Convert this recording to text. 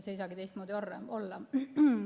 See ei saagi teistmoodi olla.